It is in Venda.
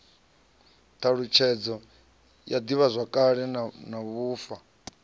thalutshedzo ya divhazwakale na vhufa